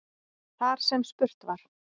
Þar sem spurt var